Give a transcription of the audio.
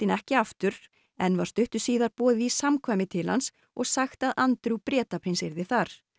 ekki aftur en var stuttu síðar boðið í samkvæmi til hans og sagt að Bretaprins yrði þar